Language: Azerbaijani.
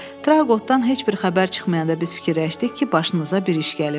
Traqoqdan heç bir xəbər çıxmayanda biz fikirləşdik ki, başınıza bir iş gəlib.